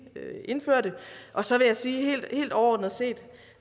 indførte så vil jeg sige helt overordnet set